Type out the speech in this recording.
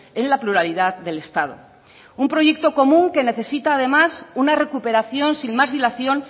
en la pluralidad del estado un proyecto común que necesita además una recuperación sin más dilación